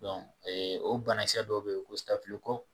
ɛɛ o banakisɛa dɔw bɛ yen ko